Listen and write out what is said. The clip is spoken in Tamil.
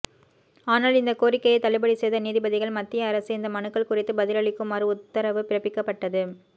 ஆனால் இந்த கோரிக்கையை தள்ளுபடி செய்த நீதிபதிகள் மத்திய அரசு இந்த மனுக்கள் குறித்து பதிலளிக்குமாறு உத்தரவு பிறப்பிக்கப்பட்டது